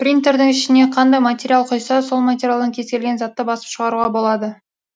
принтердің ішіне қандай материал құйса сол материалдан кез келген затты басып шығаруға болады